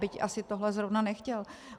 Byť asi tohle zrovna nechtěl.